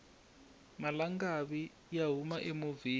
malangavi ya huma emovheni